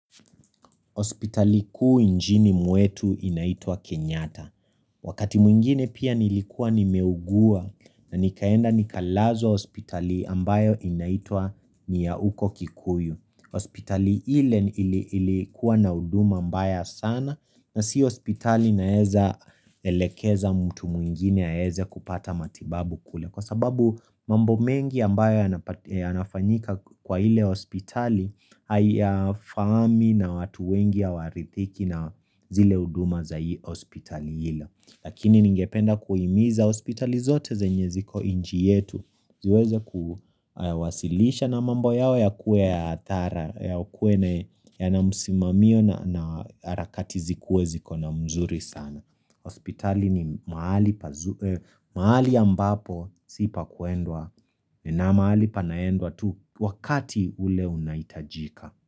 Hospitali kuu nchini mwetu inaitwa Kenyatta Wakati mwingine pia nilikuwa nimeugua na nikaenda nikalazwa hospitali ambayo inaitwa ni ya huko Kikuyu hospitali ile ilikuwa na huduma mbaya sana na si hospitali naeza elekeza mtu mwingine aeze kupata matibabu kule. Kwa sababu mambo mengi ambayo yana yanafanyika kwa hile hospitali, hayafahami na watu wengi hawarithiki na zile huduma za hospitali hilo. Lakini ningependa kuhimiza hospitali zote zenye ziko nchi yetu, ziweze kuwasilisha na mambo yao yakuwe ya athara yakuwe yana musimamio na harakati zikuwe ziko na mzuri sana hospitali ni mahali ya ambapo si pakuendwa na mahali panaendwa tu wakati ule unahitajika.